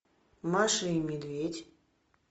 маша и медведь